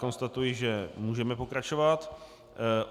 Konstatuji, že můžeme pokračovat.